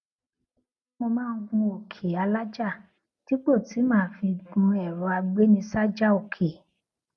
mo máa ń gun oke alaja dípò tí màá fi gun ẹrọ agbenisaja oke